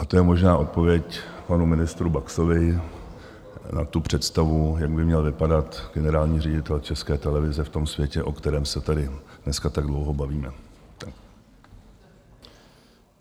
A to je možná odpověď panu ministru Baxovi na tu představu, jak by měl vypadat generální ředitel České televize v tom světě, o kterém se tady dneska tak dlouho bavíme.